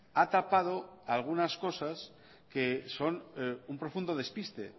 ha tapado algunas cosas que son un profundo despiste